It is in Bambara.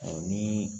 ni